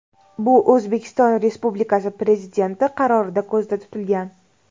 Bu O‘zbekiston Respubikasi Prezidenti qarorida ko‘zda tutilgan.